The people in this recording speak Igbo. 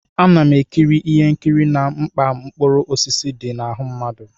Ana m ekiri ihe nkiri na mkpa mkpụrụ osisi dị na ahụ mmadụ.